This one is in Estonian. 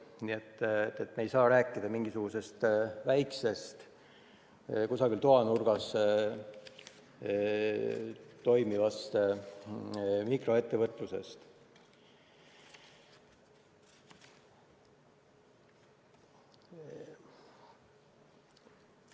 Nii et me ei saa rääkida mingisugusest väikesest kusagil toanurgas toimuvast mikroettevõtlusest.